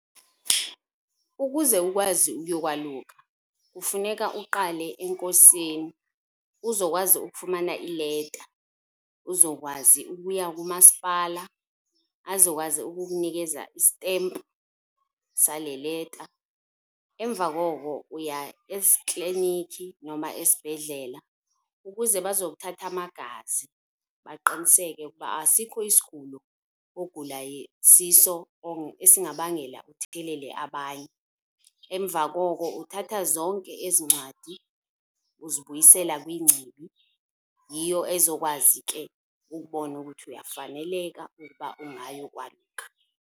Ukuze ukwazi ukuyokwaluka kufuneka uqale enkosini uzokwazi ukufumana ileta, uzokwazi ukuya kumasipala azokwazi ukukunikeza isitempu sale leta. Emva koko uya kliniki noma esibhedlela ukuze bazokuthatha amagazi baqiniseke ukuba asikho isigulo ogula siso esingabangela uthelele abanye. Emva koko uthatha zonke ezi ncwadi uzibuyisela kwingcibi, yiyo ezokwazi ke ukubona ukuthi uyafaneleka ukuba ungayokwaluka.